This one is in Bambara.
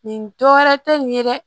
Nin dɔ wɛrɛ tɛ nin ye dɛ